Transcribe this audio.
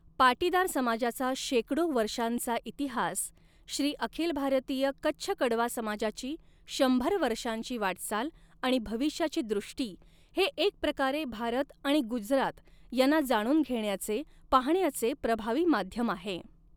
पाटीदार समाजाचा शेकडो वर्षांचा इतिहास, श्री अखिल भारतीय कच्छ कड़वा समाजाची शंभर वर्षांची वाटचाल आणि भविष्याची दृष्टी, हे एक प्रकारे भारत आणि गुजरात यांना जाणून घेण्याचे, पाहण्याचे प्रभावी माध्यम आहे.